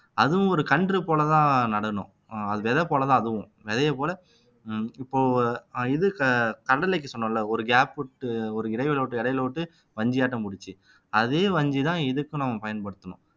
அதுவும் ஒரு கன்று போலதான் நடணும் அஹ் அது விதை போலதான் அதுவும் விதையை போல உம் இப்போ அஹ் இது க கடலைக்கு சொன்னேன்ல ஒரு gap விட்டு ஒரு இடைவேளை விட்டு இடைவேளை விட்டு வஞ்சியாட்டம் புடிச்சு அதே வஞ்சிதான் இதுக்கும் நம்ம பயன்படுத்தணும்